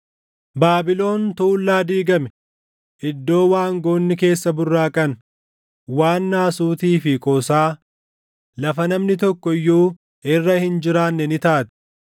Baabilon tuullaa diigame, iddoo waangoonni keessa burraaqan, waan naasuutii fi qoosaa, lafa namni tokko iyyuu irra hin jiraanne ni taati.